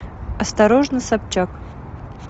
осторожно собчак